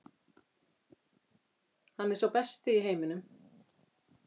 Hann er sá besti í heiminum.